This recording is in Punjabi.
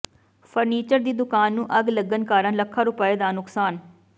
ਫਰਨੀਚਰ ਦੀ ਦੁਕਾਨ ਨੂੰ ਅੱਗ ਲੱਗਣ ਕਾਰਨ ਲੱਖਾਂ ਰੁਪਏ ਦਾ ਨੁਕਸਾਨ